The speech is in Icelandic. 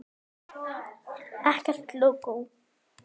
Ekkert lógó.